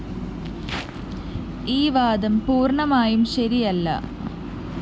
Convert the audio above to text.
ഈ വാദം പൂര്‍ണ്ണമായും ശരിയല്ല